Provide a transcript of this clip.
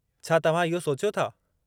छा तव्हां इहो सोचियो था?